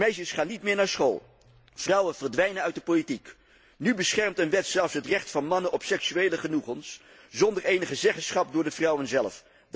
Meisjes gaan niet meer naar school, vrouwen verdwijnen uit de politiek. Nu beschermt een wet zelfs het recht van mannen op seksuele genoegens, zonder enige zeggenschap van de vrouwen zelf.